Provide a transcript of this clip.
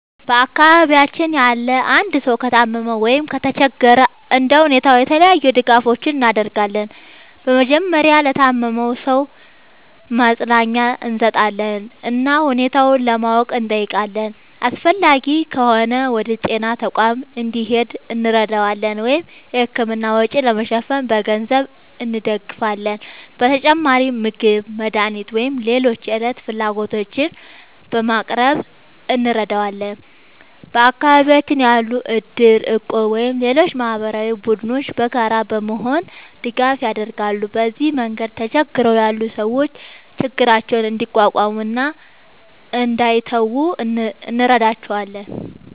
በአካባቢያችን ያለ አንድ ሰው ከታመመ ወይም ከተቸገረ እንደ ሁኔታው የተለያዩ ድጋፎችን እናደርጋለን። በመጀመሪያ ለታመመው ሰው ማጽናኛ እንሰጣለን እና ሁኔታውን ለማወቅ እንጠይቃለን። አስፈላጊ ከሆነ ወደ ጤና ተቋም እንዲሄድ እንረዳዋለን ወይም የሕክምና ወጪ ለመሸፈን በገንዘብ እንደግፋለን። በተጨማሪም ምግብ፣ መድኃኒት ወይም ሌሎች የዕለት ፍላጎቶችን በማቅረብ እንረዳዋለን። በአካባቢያችን ያሉ እድር፣ እቁብ ወይም ሌሎች ማህበራዊ ቡድኖችም በጋራ በመሆን ድጋፍ ያደርጋሉ። በዚህ መንገድ ተቸግረው ያሉ ሰዎች ችግራቸውን እንዲቋቋሙ እና እንዳይተዉ እንረዳቸዋለን።